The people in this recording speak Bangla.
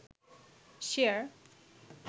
শেয়ার